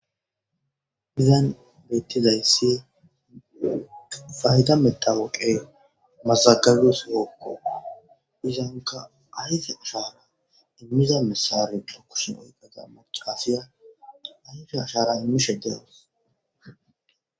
Mizan beettizayssi fayda metawoqe mazagabio siyokko izanka ayfe ashara immiza missare lukushi oyqeta macafiya ayfe ashara immishe dehos.